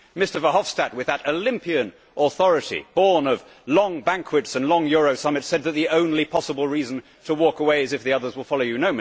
Mr Verhofstadt, with that Olympian authority born of long banquets and long Euro summits, said that the only possible reason to walk away is if the others will follow you.